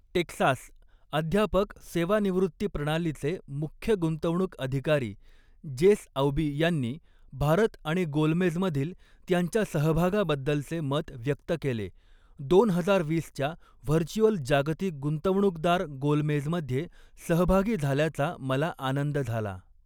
Texas, अध्यापक सेवानिवृत्ती प्रणालीचे मुख्य गुंतवणूक अधिकारी जेस औबी यांनी भारत आणि गोलमेज मधील त्यांच्या सहभागाबद्दलचे मत व्यक्त केले, दोन हजार वीसच्या व्हर्च्युअल जागतिक गुंतवणूकदार गोलमेजमध्ये सहभागी झाल्याचा मला आनंद झाला.